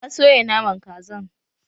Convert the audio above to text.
Na soya Naman Kazan